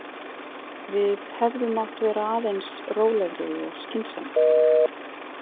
Við hefðum mátt vera aðeins rólegri og skynsamari.